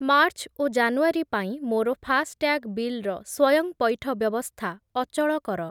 March ଓ January ପାଇଁ ମୋର ଫାସ୍‌ଟ୍ୟାଗ୍ ବିଲ୍‌ର ସ୍ଵୟଂପଇଠ ବ୍ୟବସ୍ଥା ଅଚଳ କର।